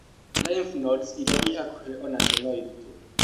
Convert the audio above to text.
Lymph nodes iria irĩ hakuhĩ o nacio no irutwo.